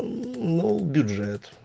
бюджет